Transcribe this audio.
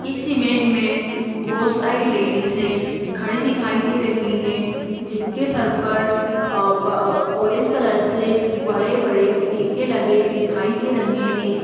इस इमेज मे बोहोत सारी लेडीज है खड़ी दिखाई दे रही है जिनके सर पर अ ब ऑरेंज कलर से बड़े-बड़े टीके लगे दिखाई दे रहे है।